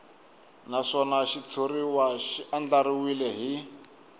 naswona xitshuriwa xi andlariwile hi